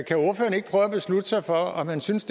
beslutte sig for om han synes